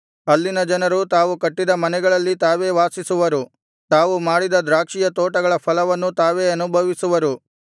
ಅಲ್ಲಿನ ಜನರು ತಾವು ಕಟ್ಟಿದ ಮನೆಗಳಲ್ಲಿ ತಾವೇ ವಾಸಿಸುವರು ತಾವು ಮಾಡಿದ ದ್ರಾಕ್ಷಿಯ ತೋಟಗಳ ಫಲವನ್ನು ತಾವೇ ಅನುಭವಿಸುವರು